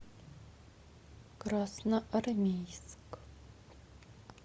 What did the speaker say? красноармейск